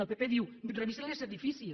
el pp diu revisin els edificis